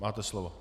Máte slovo.